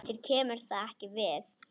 Þér kemur það ekki við.